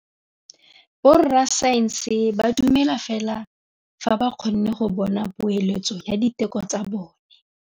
Borra saense ba dumela fela fa ba kgonne go bona poeletsô ya diteko tsa bone.